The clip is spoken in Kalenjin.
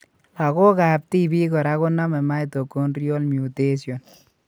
Lagok ab tibik kora konome mitochondrial mutation